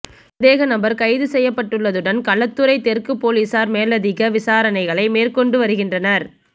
சந்தேக நபர் கைது செய்யப்பட்டுள்ளதுடன் களுத்துறை தெற்கு பொலிஸார் மேலதிக விசாரணைகளை மேற்கொண்டு வருகின்றனர்